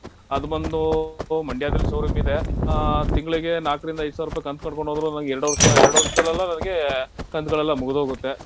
ಅದ್ ಬಂದು ಮಂಡ್ಯದಲ್ showroom ಇದೆ. ಆಹ್ ತಿಂಗ್ಳಿಗೆ ನಾಲ್ಕ್ರಿಂದ ಐದ್ ಸಾವ್ರುಪೈ ಕಂತ್ ಕಟ್ಕೊಂಡ್ ಹೋದ್ರು ನನ್ಗೆ ಎರಡ್ ವರ್ಷ ಎರಡ್ ವರ್ಷದಲ್ಲೆಲ್ಲ ನನ್ಗೆ ಕಂತ್ಗಳೆಲ್ಲ ಮುಗ್ಧ್ ಹೋಗುತ್ತೆ.